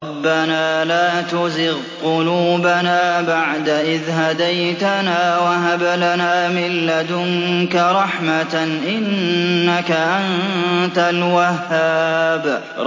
رَبَّنَا لَا تُزِغْ قُلُوبَنَا بَعْدَ إِذْ هَدَيْتَنَا وَهَبْ لَنَا مِن لَّدُنكَ رَحْمَةً ۚ إِنَّكَ أَنتَ الْوَهَّابُ